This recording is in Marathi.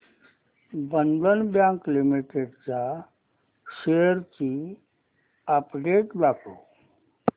बंधन बँक लिमिटेड च्या शेअर्स ची अपडेट दाखव